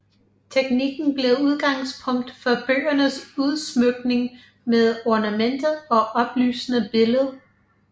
Teknikken blev udgangspunkt for bøgernes udsmykning med ornamenter og oplysende billeder